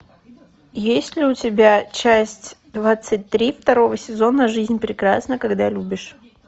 есть ли у тебя часть двадцать три второго сезона жизнь прекрасна когда любишь